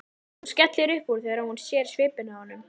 Hún skellir upp úr þegar hún sér svipinn á honum.